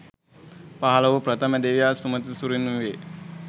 පහළ වූ ප්‍රථම දෙවියා සුමන සුරිඳුන් වේ.